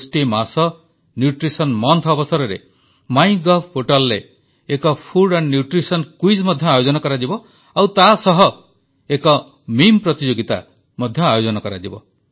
ପୋଷଣ ମାସ ଅବସରରେ ମାଇଗଭରେ ଏକ ଖାଦ୍ୟ ଓ ପୋଷଣ କୁଇଜ ମଧ୍ୟ ଆୟୋଜନ କରାଯିବ ଆଉ ତାସହ ଏକ ମିମ୍ ପ୍ରତିଯୋଗିତା ମଧ୍ୟ ହେବ